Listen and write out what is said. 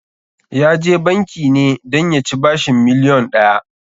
Ya je banki ne dan ya ci bashin miliyon ɗaya.